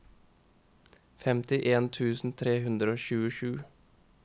femtien tusen tre hundre og tjuesju